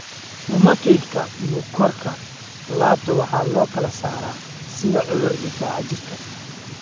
Rheumatoid-ka bukoorka laabta waxaa loo kala saaraa sida cudur difaaca jirka.